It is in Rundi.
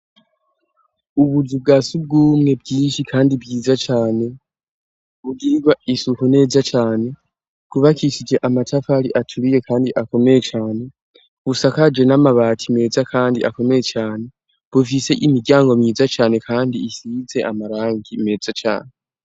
Ubuzu bwa sugumwe bwinshi kandi bwiza cane, bugirirwa isuku neza cane, bwubakishije amatafari aturiye kandi akomeye cane, busakaje n'amabati meza kandi akomeye cane, bufise imiryango myiza cane kandi isize amarangi meza cane.